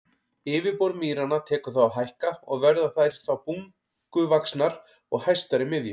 Yfirborð mýranna tekur þá að hækka og verða þær þá bunguvaxnar og hæstar í miðju.